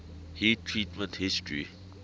heat treatment history